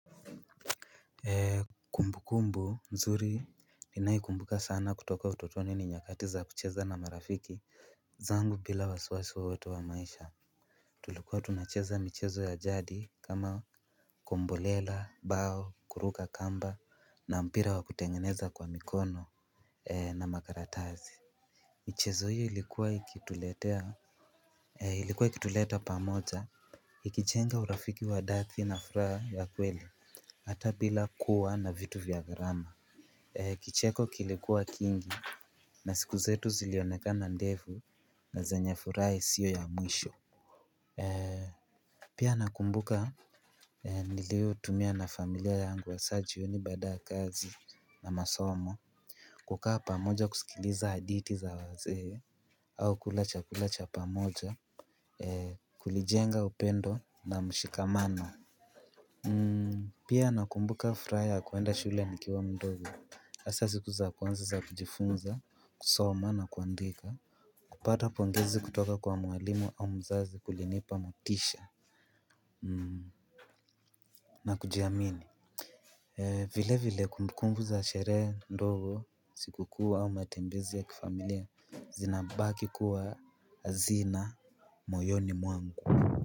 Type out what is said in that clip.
Kumbukumbu nzuri ninaikumbuka sana kutoka utotoni ni nyakati za kucheza na marafiki zangu bila wasiwasi wowotu wa maisha. Tulikuwa tunacheza michezo ya jadi kama kombolela bao kuruka kamba na mpira wa kutengeneza kwa mikono na makaratasi. Michezo hio ilikuwa ikituletea ilikuwa ikituleta pamoja. Ikichenga urafiki wa dathi na furaha ya kweli. Hata bila kuwa na vitu vya gharama kicheko kilikuwa kingi na siku zetu zilionekana ndefu na zenye furaha isio ya mwisho. Pia nakumbuka nilio tumia na familia yangu hasa jioni baada ya kazi na masomo. Kukaa pamoja kusikiliza haditi za wazee au kula chakula cha pamoja kulijenga upendo na mshikamano. Pia nakumbuka fraha ya kuenda shule nikiwa mdogo. Asa siku za kwanza za kujifunza, kusoma na kuandika kupata pongezi kutoka kwa mwalimu au mzazi kulinipa motisha na kujiamini. Vile vile kumbukumbu za sherehe ndogo siku kuu au matembezi ya kifamilia zinabaki kuwa azina moyoni mwangu. Kwa hivyo.